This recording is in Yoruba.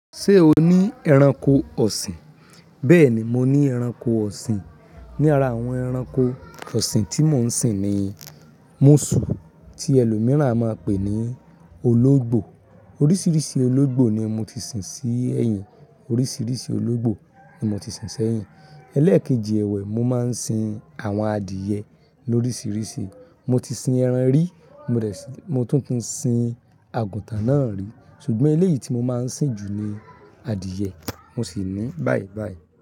Ṣé o ní ẹranko ọ̀sìn? Bẹ́ẹ̀ni, mo ní ẹranko ọ̀sìn. Ni ara àwọn ẹranko ọ̀sìn tí mò ń sìn ni múṣù, tí ẹlòmíràn a máa pè ní ológbò. Oríṣiríṣi ológbò ni mo ti sìn sí ẹ̀yìn. Oríṣiríṣi ológbò ni mo ti sìn sẹ́yìn. Elẹ́ẹ̀kejì ẹ̀wẹ̀, mo máa ń sin àwọn adìyẹ lóríṣiríṣi. Mo ti sin ẹran rí, mo tún ti sin àgùntàn náà rí. Ṣùgbọ́n eléyìí tí mo máa ń sìn jù ni adìyẹ, mo sì ní bàìbàì.